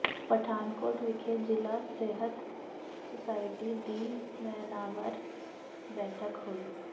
ਪਠਾਨਕੋਟ ਵਿਖੇ ਜ਼ਿਲ੍ਹਾ ਸਿਹਤ ਸੁਸਾਇਟੀ ਦੀ ਮਹੀਨਾਵਾਰ ਬੈਠਕ ਹੋਈ